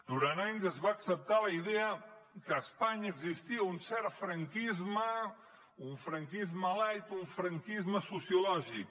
durant anys es va acceptar la idea que a espanya existia un cert franquisme un franquisme light un franquisme sociològic